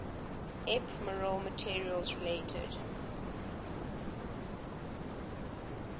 ephemeral materials related